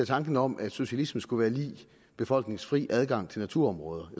tanken om at socialisme skulle være lig befolkningens fri adgang til naturområder